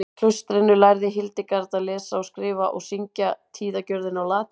Í klaustrinu lærði Hildegard að lesa og skrifa og syngja tíðagjörðina á latínu.